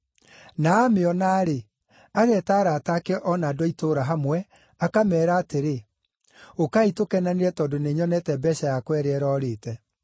Na amĩona-rĩ, ageeta arata ake o na andũ a itũũra hamwe, akameera atĩrĩ, ‘Ũkai tũkenanĩre tondũ nĩnyonete mbeeca yakwa ĩrĩa ĩrorĩte.’